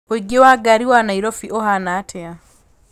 ũingĩ wa ngari wa nairobi ũhaana atĩa